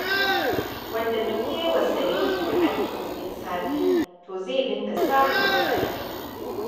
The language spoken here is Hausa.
Wanda duk yayi wasarere da addo'in safe, to zai dinga samun matsala.